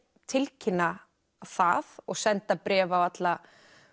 tilkynna það og senda bréf á alla